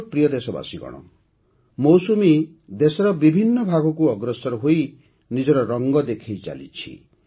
ମୋର ପ୍ରିୟ ଦେଶବାସୀଗଣ ମୌସୁମୀ ଦେଶର ବିଭିନ୍ନ ଭାଗକୁ ଅଗ୍ରସର ହୋଇ ନିଜର ରଙ୍ଗ ଦେଖାଇ ଚାଲିଛି